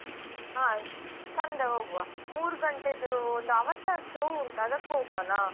ಹಾ Sunday ಹೋಗ್ವಾ ಮೂರು ಗಂಟೆಯದ್ದು ಒಂದು avatar show ಒಂಟು ಅದಕ್ಕೆ ಹೋಗ್ವಾನ.